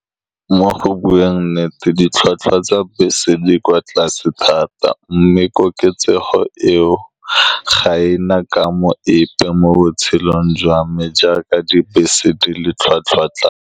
Mo go bueng nnete, ditlhwatlhwa tsa bese di kwa tlase thata, mme koketsego eo ga ena kamo epe mo botshelong jwa me, jaaka dibese di le tlhwatlhwa tlase.